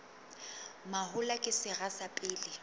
mahola ke sera sa pele